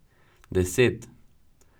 Deset!